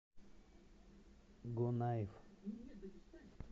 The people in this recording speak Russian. гонаив